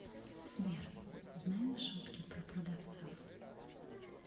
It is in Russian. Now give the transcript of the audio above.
сбер знаешь шутки про продавцов